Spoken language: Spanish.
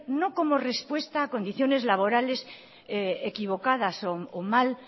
no como respuesta a condiciones laborales equivocadas o mal